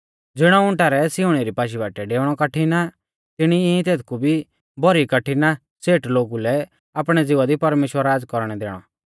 ज़िणौ उंटा रै सिउणी री पाशी बाटीऐ डेउणौ कठिण आ तिणी ई तेथकु भी भौरी कठिण आ सेठ लोगु लै आपणै ज़िवा दी परमेश्‍वर राज़ कौरणै दैणौ